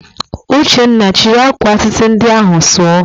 Uchenna, chịrị akwa atịtị ndị ahụ sụọ!